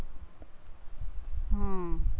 હમ